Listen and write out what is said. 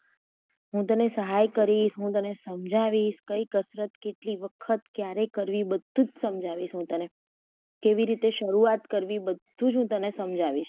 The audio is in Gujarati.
હું સહાય કરીશ હું તને સમજાવીશ કઈ કસરત કેટલી વખત ક્યારે કરવી બધુ જ સમજાવીશ હું તને કેવી રીતે શરૂઆત કરવી બધુ જ હું તને સમજાવીશ.